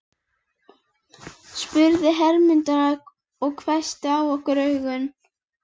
spurði Hermundur og hvessti á okkur augun.